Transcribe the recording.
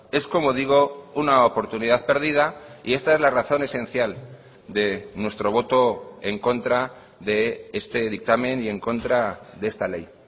es como digo una oportunidad perdida y esta es la razón esencial de nuestro voto en contra de este dictamen y en contra de esta ley